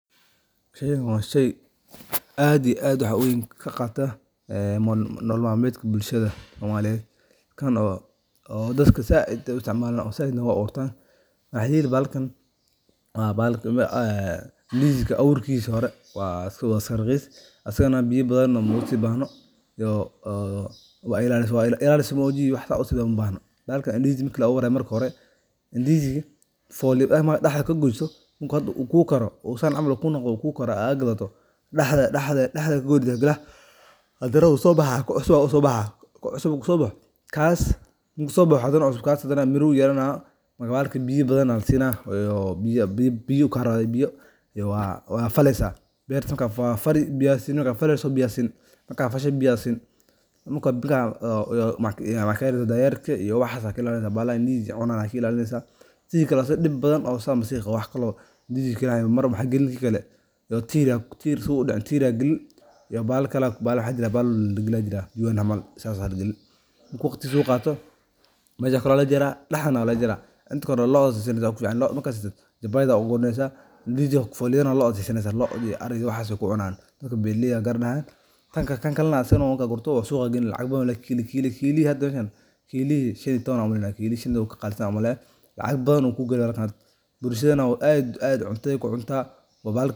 Shaygan waa shay aad iyo aad wax weyn ka qaata nolol malmetka bulshadda somaliiyed kan oo dadka saaid u isticmaalan oo aburtan waxa yeli bahalkan aan Indizi ka abuurkiisa hore waa iskaaraqiis asiigana biyo badan ma usiibahno oo wailaalise maogi loma bahno bahalkani Indizi ka marka la abuurayo Indizi ka marka daxdata ka gooyso uu ku kaaro aad gataado daxda ad kagooyso hadan waa so baxa ku cusuban aa sobaha marku so baxo kas hadan miru yelaana biyo badan wala siina biyo karawa biyo wad fali biya siini wada fali marka fasho waxa ka ilaalini dayerka iyo waxas aan ka ilaalineysa baxalaha Indizi ka cunan sidha kale asigo dib badan wax dex daxgaliyo tiir sii oo udaaco bahal waxa jira oo lagaliyo oo marku waqtiigisa uu qaato mesho kalan walaga jara daxdana walaga jara intaa kore loo siiso wad odaayeysa Indizi ga loo iyo ariiga waxas aya ku cunaya dadka beeralayeda aya garanaya kan gale asigan marka gortabo suqa galin asigan lacag badan ayu leyaha kilihi meshan shan iyo tawan waye shan iyo tawan wu ka qalisantaha umaleya lacag badan ayu ku gali bulshaddan aad cuntade ku cunta oo bahal.